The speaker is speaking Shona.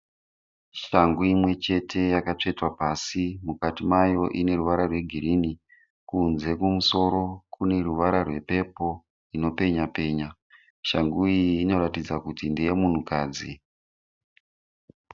Shangu imwe chete yakatsvetwa pasi. Mukati mayo ine ruvara rwegirini. Kunze kumusoro kune ruvara rwe"purple" inopenyapenya. Shangu iyi inoratidza kuti ndeye munhukadzi.